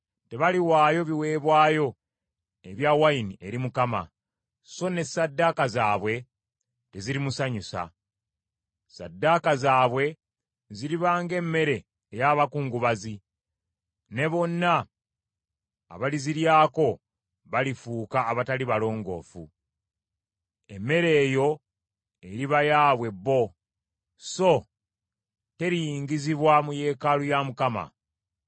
Tebaliwaayo biweebwayo ebya wayini eri Mukama , so ne ssaddaaka zaabwe tezirimusanyusa. Ssaddaaka zaabwe ziriba ng’emmere ey’abakungubazi, ne bonna abaliziryako balifuuka abatali balongoofu. Emmere eyo eriba yaabwe bo, so teriyingizibwa mu yeekaalu ya Mukama .